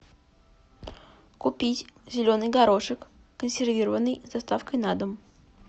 купить зеленый горошек консервированный с доставкой на дом